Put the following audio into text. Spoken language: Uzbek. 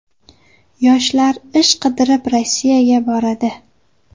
Yoshlar ish qidirib Rossiyaga boradi.